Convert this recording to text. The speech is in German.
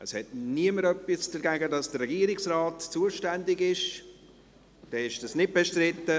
Es hat niemand etwas dagegen, dass der Regierungsrat zuständig sein soll.